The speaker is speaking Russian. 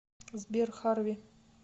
сбер харви